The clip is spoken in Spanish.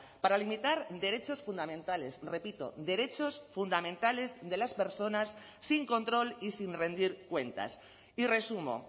para limitar derechos fundamentales repito derechos fundamentales de las personas sin control y sin rendir cuentas y resumo